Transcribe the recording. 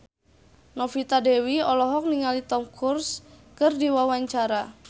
Novita Dewi olohok ningali Tom Cruise keur diwawancara